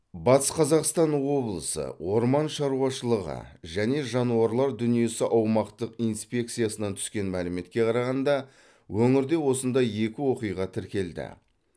батыс қазақстан облысы орман шаруашылығы және жануарлар дүниесі аумақтық инспекциясынан түскен мәліметке қарағанда өңірде осындай екі оқиға тіркелді